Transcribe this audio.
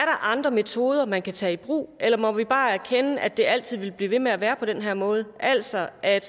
andre metoder man kan tage i brug eller må vi bare erkende at det altid vil blive ved med at være på den her måde altså at